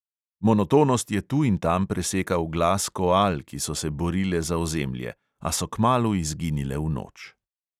Monotonost je tu in tam presekal glas koal, ki so se borile za ozemlje, a so kmalu izginile v noč.